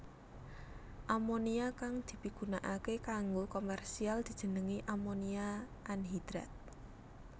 Amonia kang dipigunakaké kanggo komersial dijenengi amonia anhidrat